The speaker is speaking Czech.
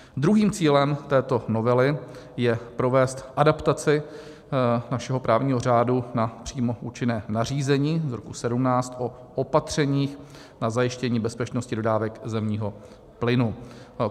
Druhým cílem této novely je provést adaptaci našeho právního řádu na přímo účinné nařízení z roku 2017 o opatřeních na zajištění bezpečnosti dodávek zemního plynu.